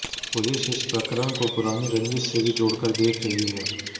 police इस प्रकरण को पुरानी रंजिश से भी जोड़कर देख रही है